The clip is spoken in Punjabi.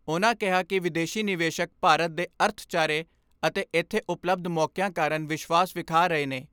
ਉਨ੍ਹਾਂ ਕਿਹਾ ਕਿ ਵਿਦੇਸ਼ੀ ਨਿਵੇਸ਼ਕ ਭਾਰਤ ਦੇ ਅਰਥਚਾਰੇ ਅਤੇ ਇਥੇ ਉਪਲੱਭਦ ਮੌਕਿਆਂ ਕਾਰਨ ਵਿਸਵਾਸ਼ ਵਿਖਾ ਰਹੇ ਨੇ।